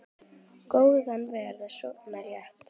Fjarri úrvinda augum.